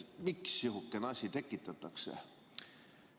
Miks sihukene asi tekitatakse?